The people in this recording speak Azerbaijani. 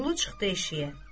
Vəliqulu çıxdı eşiyə.